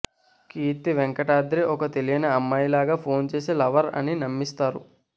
కీర్తి వెంకటాద్రి ఒక తెలియని అమ్మాయిలాగా ఫోన్ చేసి లవర్ అని నమ్మిస్తారు